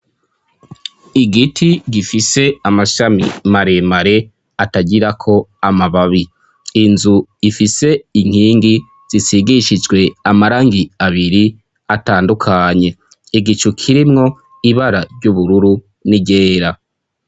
Igiti gifise amashami maremare atagirako amababi ,inzu ifise inkingi zisigishijwe amarangi abiri atandukanye, igicu kirimwo ibara ry'ubururu n'iryera.